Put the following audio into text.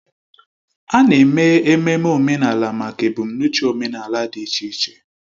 A na-eme ememme omenala maka ebumnuche omenala dị iche iche